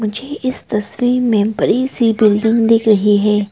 मुझे इस तस्वीर में बड़ी सी बिल्डिंग दिख रही है।